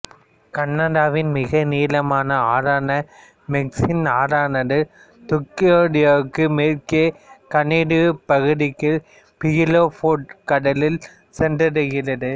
கனடாவின் மிக நீளமான ஆறான மெக்கன்சி ஆறானது துக்டோயாக்டுக்கு மேற்கே கனேடியப் பகுதிக்குள் பியூஃபோர்ட் கடலில் சென்றடைகிறது